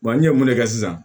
Wa n ye mun de kɛ sisan